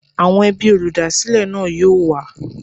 Àwọn ẹbí olúdásílè náà yóò wá.